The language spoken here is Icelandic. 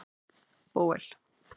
Bóel